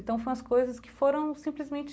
Então, foi umas coisas que foram simplesmente